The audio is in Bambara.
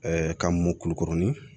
ka mɔ kulukurunin